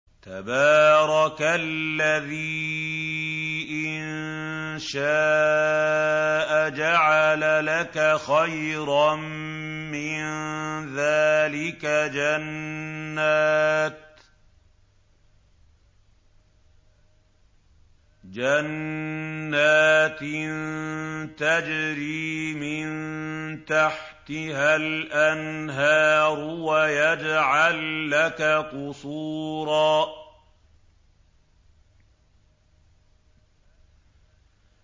تَبَارَكَ الَّذِي إِن شَاءَ جَعَلَ لَكَ خَيْرًا مِّن ذَٰلِكَ جَنَّاتٍ تَجْرِي مِن تَحْتِهَا الْأَنْهَارُ وَيَجْعَل لَّكَ قُصُورًا